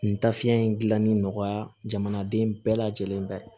Nin tafiɲɛ in dilanni nɔgɔya jamanaden bɛɛ lajɛlen bɛ